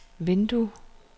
vindue